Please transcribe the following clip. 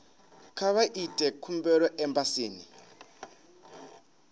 kha vha ite khumbelo embasini